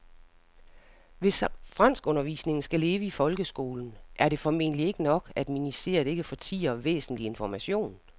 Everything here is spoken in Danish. Hvis franskundervisningen skal leve i folkeskolen er det formentlig ikke nok, at ministeriet ikke fortier væsentlig information.